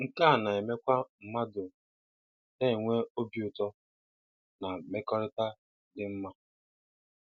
Nke a na-emekwa mmadụ na-enwe obi ụtọ na mmekọrịta dị mma.